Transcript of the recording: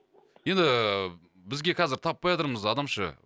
енді ііі бізге қазір таппай атырмыз адам ше